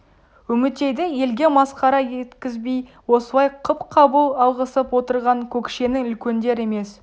үмітейді елге масқара еткізбей осылай қып қабыл алғызып отырған көкшенің үлкендер емес